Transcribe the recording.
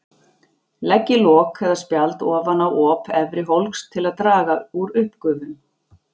Leggið lok eða spjald ofan á op efri hólks til að draga úr uppgufun.